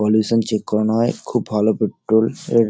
pollution check করানো হয়ে খুব ভালো পেট্রল -স এর --